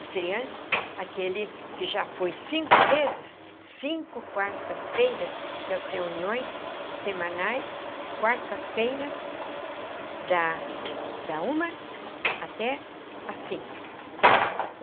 estreantes, aquele que já foi cinco vezes, cinco quartas-feiras, porque as reuniões semanais, quartas-feiras, da da uma até às cinco.